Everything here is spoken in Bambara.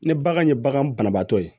Ni bagan ye bagan banabaatɔ ye